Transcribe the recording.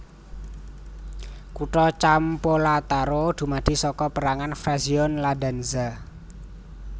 Kutha Campolattaro dumadi saka perangan frazione Iadanza